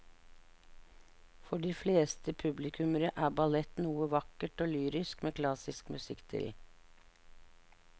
For de fleste publikummere er ballett noe vakkert og lyrisk med klassisk musikk til.